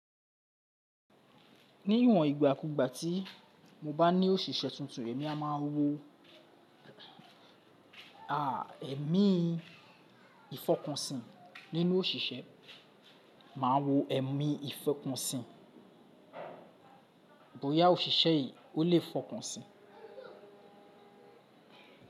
Ní ìwòn ìgbà kúú ìgbà ti mo bá ni òṣìṣẹ́ tuntun, èmi a máa wo à ẹ̀mí ìfọkànsìn nínú òṣìṣẹ́, màá wo ẹ̀mí ìfọkànsìn. Bóyá òṣìṣẹ́ yìí ó le fọkàn sìn.